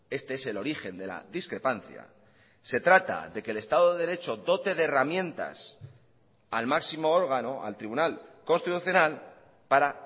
este es el origen de la discrepancia se trata de que el estado de derecho dote de herramientas al máximo órgano al tribunal constitucional para